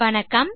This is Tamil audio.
வணக்கம்